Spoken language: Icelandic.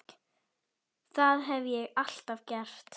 Það hef ég alltaf gert